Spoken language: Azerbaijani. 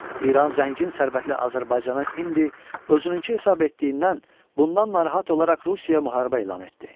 İran zəngin sərvətli Azərbaycana indi özününkü hesab etdiyindən bundan narahat olaraq Rusiyaya müharibə elan etdi.